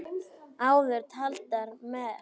Áður taldar með